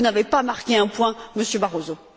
Vous n'avez pas marqué un point, Monsieur Barroso.